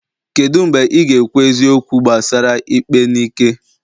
kedu mgbe ị ga-ekwu eziokwu gbasara ikpe n'ike?